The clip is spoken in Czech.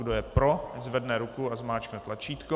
Kdo je pro, ať zvedne ruku a zmáčkne tlačítko.